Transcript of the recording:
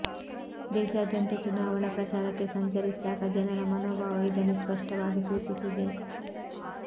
ದೇಶಾದ್ಯಂತ ಚುನಾವಣಾ ಪ್ರಚಾರಕ್ಕೆ ಸಂಚರಿಸಿದಾಗ ಜನರ ಮನೋಭಾವ ಇದನ್ನು ಸ್ಪಷ್ಟವಾಗಿ ಸೂಚಿಸಿದೆ